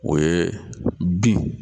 O ye bin